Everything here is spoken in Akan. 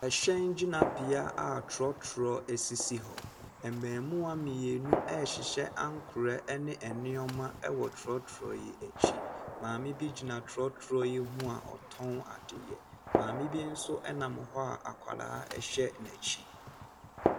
Ɛhyɛn gyinabea a trɔtrɔ sisi hɔ. Mmamuwaa mmeinu rehyehyɛ nneɛma wɔ trɔtrɔ no akyi. Maame bi gyina trɔtrɔ yi ho a ɔtɔn adeɛ. Maame bi nso nam hɔ a akwaraa hyɛ n'akyi.